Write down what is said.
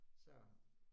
Så